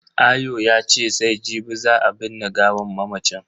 Ayo yace sai jibi za a binne gawan mamacin.